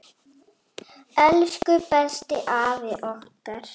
Elsku besti afi okkar.